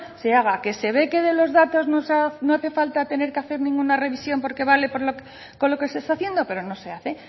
se haga que se ve que de los datos no hace falta tener que hacer ninguna revisión porque vale con lo que se está haciendo pero no se hace